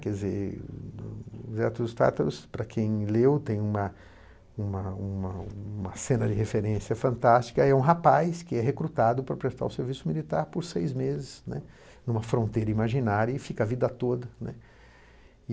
Quer dizer, Zé dos Tátaros, para quem leu tem uma uma uma uma cena de referência fantástica, é um rapaz que é recrutado para prestar o serviço militar por seis meses, né numa fronteira imaginária e fica a vida toda, né.